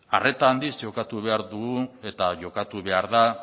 arreta handiz jokatu behar dugu eta jokatu behar da